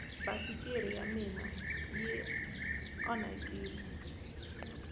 basikiri ya mina yi anhakini